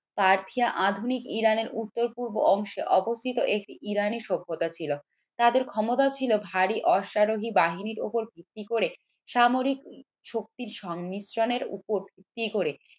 Persia আধুনিক ইরানের উত্তর পূর্বে অংশে অবস্থিত একটি ইরানি সভ্যতা ছিল তাদের ক্ষমতা ছিল ভারী অশ্বারোহী বাহিনীর উপর ভিত্তি করে সামরিক শক্তির সংমিশ্রণের ওপর ভিত্তি করে